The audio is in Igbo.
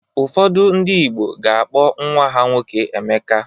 Ụfọdụ ndị Igbo ga-akpọ nnwa ha nwoke Emeka.